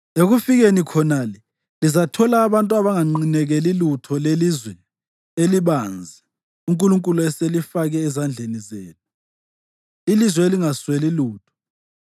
Ekufikeni khonale lizathola abantu abanganqinekeli lutho lelizwe elibanzi uNkulunkulu aselifake ezandleni zenu, ilizwe elingasweli lutho.”